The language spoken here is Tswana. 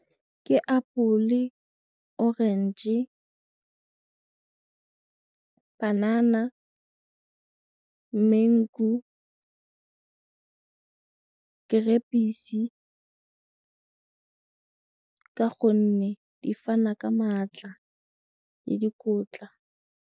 Ke apole, orange, panana, mangu, perekise ka gonne di fana ka maatla le dikotla.